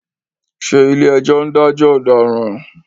Ṣé ìlé-ẹjọ́ ń dajọ ọ̀daràn?